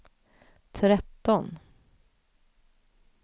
tretton